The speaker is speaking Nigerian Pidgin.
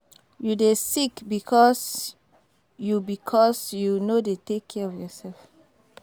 You dey sick because you because you no dey take care of yourself